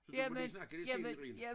Så du må lige snakke lidt selv Irene